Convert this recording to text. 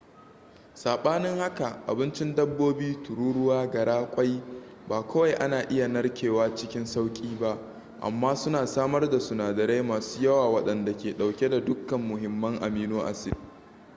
sabanin haka abincin dabbobi tururuwa gara ƙwai ba kawai ana iya narkewa cikin sauƙi ba amma suna samar da sunadarai masu yawa waɗanda ke ɗauke da dukkan muhimman amino acid